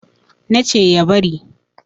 na ce ya bari